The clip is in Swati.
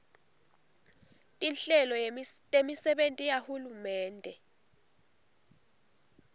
tinhlelo temisebenti yahulumende